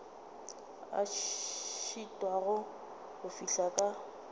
a šitwago go fihla ka